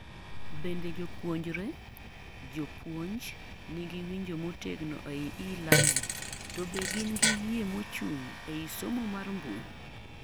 Bende jopunjre, jopuonj nigi winjo motegno ei elearning, to be gin gi yie mochung' ei somo mar mbui